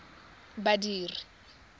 badiri